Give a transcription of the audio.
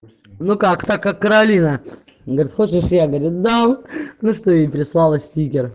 ну как-то как каролина говорит хочешь я говорит дам ну что ей прислала стикер